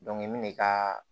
n bɛ n'i ka